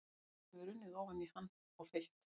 Hraun hefur runnið ofan í hann og fyllt.